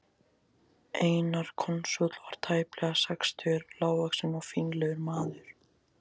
Einar konsúll var tæplega sextugur, lágvaxinn og fínlegur maður.